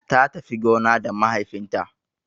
Ta tafi gona da mahaifin ta